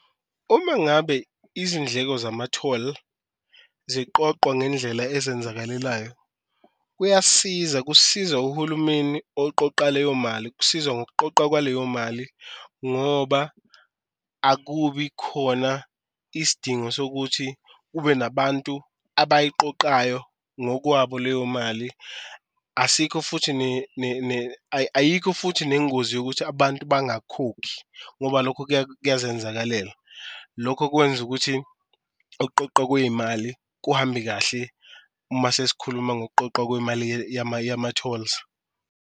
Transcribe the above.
Uma ngabe izindleko zamatholi ziqoqwa ngendlela azenzakalelayo, kuyasiza kusiza uhulumeni oqoqa leyo mali kusiza ngokuqoqwa kwaleyo mali ngoba akubi khona isidingo sokuthi kube nabantu abayiqoqayo ngokwabo leyo mali. Asikho futhi ayikho futhi nengozi yokuthi abantu bangakhokhi ngoba lokho kuyazenzakalela, lokho kwenza ukuthi ukuqoqwa kweyimali kuhambe kahle uma sesikhuluma ngokuqoqwa kwemali yama-tolls.